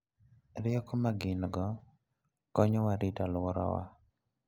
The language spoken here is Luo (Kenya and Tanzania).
Rieko ma gin-go konyowa rito alworawa.